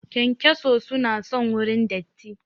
Kyankyaso su na son wurin datti